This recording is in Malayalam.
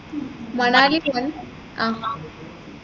മണാലി ആഹ്